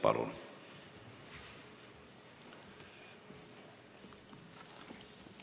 Palun!